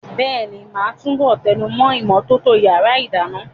Bẹ́ẹ̀ni, màá túbọ̀ tẹnumọ́ ìmọ́tótó yàrá ìdáná.